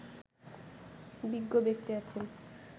বিজ্ঞ ব্যক্তি আছেন